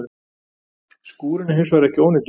Skúrinn er hins vegar ekki ónýtur